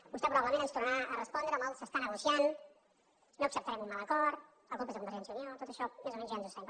vostè probablement ens tornarà a respondre amb el s’està negociant no acceptarem un mal acord la culpa és de convergència i unió tot això més o menys ja ens ho sabem